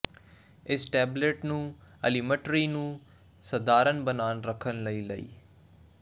ਇਸ ਟੈਬਲੇਟ ਨੂੰ ਐਲੀਮਟਰੀ ਨੂੰ ਸਧਾਰਨ ਬਣਾਈ ਰੱਖਣ ਲਈ ਲਈ